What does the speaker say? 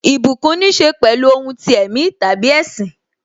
Ìbùkún níse pẹ̀lú ohun ti ẹ̀mí tàbí ẹṣin.